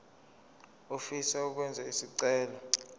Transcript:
ofisa ukwenza isicelo